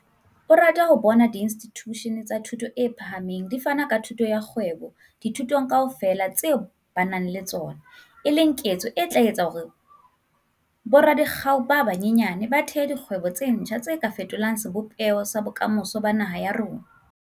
O rata ho bona diinstitjushene tsa thuto e phahameng di fana ka thuto ya kgwebo dithutong kaofela tse ba nang le tsona, e leng ketso e tla etsa hore boradikgau ba banyenyane ba thehe dikgwebo tse ntjha tse ka fetolang sebopeho sa bokamoso ba naha ya rona.